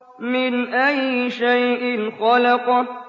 مِنْ أَيِّ شَيْءٍ خَلَقَهُ